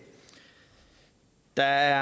der